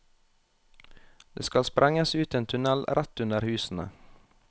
Det skal sprenges ut en tunnel rett under husene.